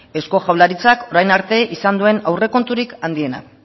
eusko jaurlaritzak orain arte izan duen aurrekonturik handiena